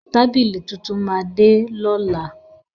Tábílì tuntun máa de lọ́la.